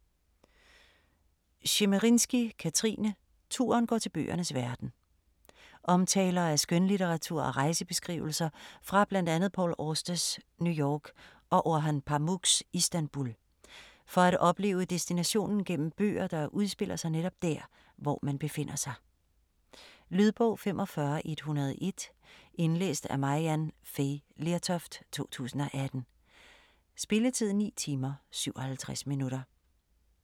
Tschemerinsky, Kathrine: Turen går til bøgernes verden Omtaler af skønlitteratur og rejsebeskrivelser fra bl.a Paul Austers New York og Orhan Pamuks Istanbul, for at opleve destinationen gennem bøger, der udspiller sig netop dér, hvor man befinder sig. Lydbog 45101 Indlæst af Maryann Fay Lertoft, 2018. Spilletid: 9 timer, 57 minutter.